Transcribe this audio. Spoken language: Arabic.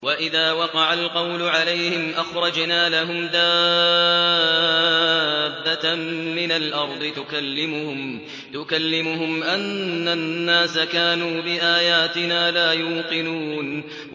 ۞ وَإِذَا وَقَعَ الْقَوْلُ عَلَيْهِمْ أَخْرَجْنَا لَهُمْ دَابَّةً مِّنَ الْأَرْضِ تُكَلِّمُهُمْ أَنَّ النَّاسَ كَانُوا بِآيَاتِنَا لَا يُوقِنُونَ